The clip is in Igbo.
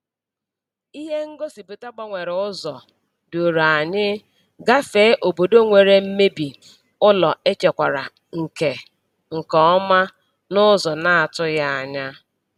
Ihe ngosipụta gbanwere ụzọ duru anyị gafee obodo nwere mmebi ụlọ echekwara nke nke ọma n’ụzọ na-atụghị anya.